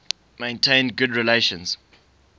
maintained good relations